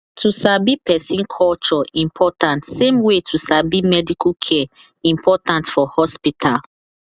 to sabi person culture important same way to sabi medical care important for hospital